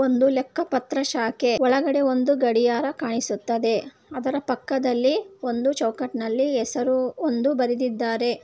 ಒಂದು ಲೆಕ್ಕ ಪತ್ರ ಶಾಖೆ ಒಳಗಡೆ ಒಂದು ಗಡಿಯಾರ ಕಾಣಿಸುತ್ತದೆ ಅದರ ಪಕ್ಕದಲ್ಲಿ ಒಂದು ಚೌಕಟ್ಟಿನಲ್ಲಿ ಹೆಸರು ಒಂದು ಬರೆದಿದ್ದಾರೆ.